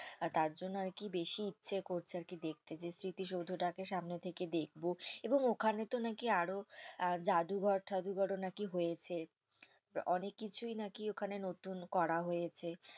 আর তার জন্য আরকি বেশি ইচ্ছে করছে আরকি দেখতে যে স্মৃতিসৌধটাকে সামনে থেকে দেখবো এবং ওখানেতো নাকি আরো আহ জাদুঘর টাদুঘর ও নাকি হয়েছে অনেক কিছুই নাকি ওখানে নতুন করা হয়েছে।